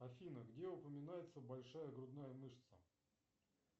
афина где упоминается большая грудная мышца